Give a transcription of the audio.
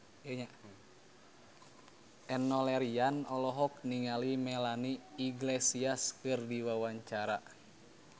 Enno Lerian olohok ningali Melanie Iglesias keur diwawancara